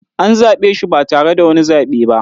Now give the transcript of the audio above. An zaɓe shi ba tare da wani zaɓe ba